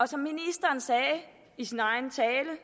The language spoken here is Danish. som ministeren sagde i sin egen tale